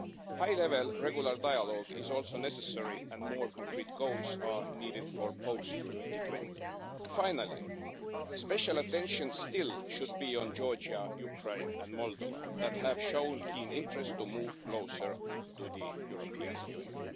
High level, regular dialogue is also necessary, and more concrete goals are needed for post 2020. Finally, special attention still should be on Georgia, Ukraine and Moldova, which have shown keen interest to move closer to the European Union.